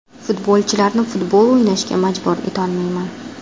Futbolchilarni futbol o‘ynashga majbur etolmayman.